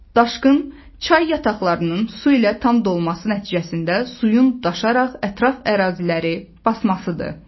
Daşqın çay yataqlarının su ilə tam dolması nəticəsində suyun daşaraq ətraf əraziləri basmasıdır.